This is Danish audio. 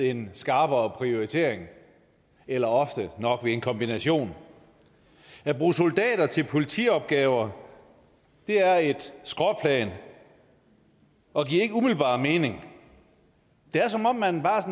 en skarpere prioritering eller ofte nok ved en kombination at bruge soldater til politiopgaver er et skråplan og giver ikke umiddelbart mening det er som om man bare